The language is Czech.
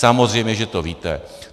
Samozřejmě že to víte.